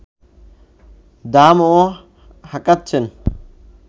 দামও হাঁকাচ্ছেন